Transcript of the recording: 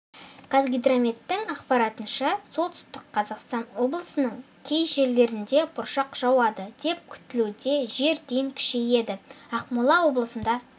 қазгидрометтің ақпаратынша солтүстік қазақстан облысының кей жерлерінде бұршақ жауады деп күтілуде жел дейін күшейеді ақмола облысында